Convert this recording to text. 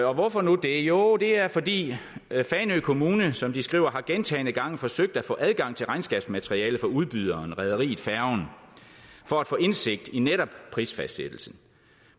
og hvorfor nu det jo det er fordi fanø kommune som de skriver gentagne gange har forsøgt at få adgang til regnskabsmateriale fra udbyderen rederiet færgen for at få indsigt i netop prisfastsættelsen